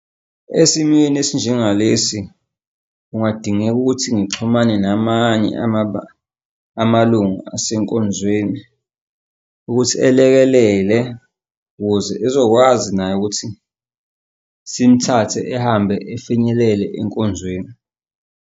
Esimweni esinjengalesi kungadingeka ukuthi ngixhumane namanye amalungu asenkonzweni ukuthi elekelele ukuze ezokwazi naye ukuthi simthathe ehambe efinyelele enkonzweni.